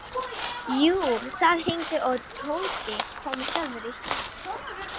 Jú, það hringdi og Tóti kom sjálfur í símann.